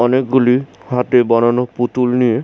অনেকগুলি হাতে বানানো পুতুল নিয়ে--